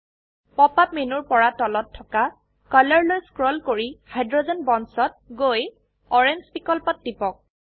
pop up মেনুৰ পৰা তলত থকা কলৰ লৈ স্ক্ৰোল কৰি হাইড্ৰোজেন বণ্ডছ ত গৈ অৰাঙে বিকল্পত টিপক